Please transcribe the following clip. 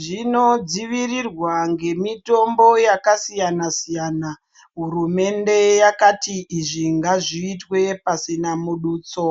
zvinodzivirirwa ngemitombo yakasiyana siyana. Hurumende yakati izvi ngazviitwe pasina mudutso.